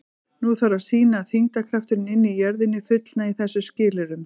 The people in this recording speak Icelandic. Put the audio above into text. Nú þarf að sýna að þyngdarkrafturinn inni í jörðinni fullnægi þessum skilyrðum.